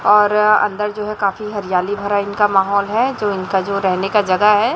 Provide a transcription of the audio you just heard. और अंदर जो है काफी हरियाली भरा इनका माहौल है जो इनका जो रहने का जगह है।